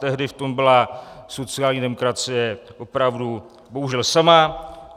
Tehdy v tom byla sociální demokracie opravdu bohužel sama.